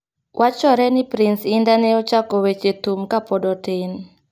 wachore ni Pronce indah ne ochako weche thum kapod otin .